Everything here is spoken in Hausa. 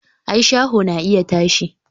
i, shaho na iya tashi